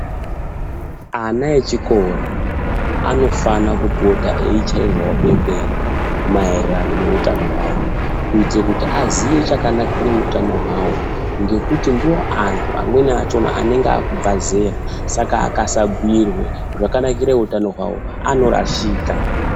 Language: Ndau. Ana echikora anofana kupota eichairwawo bembera maererano neutano hwawo kuitire kuti aziye chakanakire utano hwawo ngekuti ndiwo antu amweni achona anenge akubva zera, saka akasabhuirwe zvakanakira utano hwawo anorashika.